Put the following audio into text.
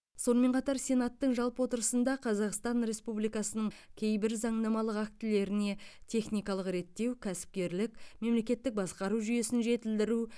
сонымен қатар сенаттың жалпы отырысында қазақстан республикасының кейбір заңнамалық актілеріне техникалық реттеу кәсіпкерлік мемлекеттік басқару жүйесін жетілдіру